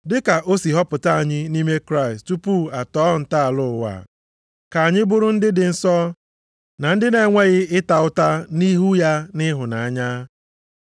Dịka o si họpụta anyị nʼime Kraịst tupu a tọọ ntọala ụwa, ka anyị bụrụ ndị dị nsọ na ndị na-enweghị ịta ụta nʼihu ya nʼịhụnanya.